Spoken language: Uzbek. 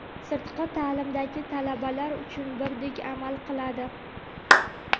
sirtqi taʼlimdagi talabalar uchun birdek amal qiladi.